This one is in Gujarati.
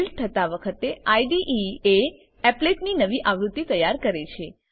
બીલ્ડ થતા વખતે આઇડીઇ એ એપ્લેટ ની નવી આવૃત્તિ તૈયાર કરે છે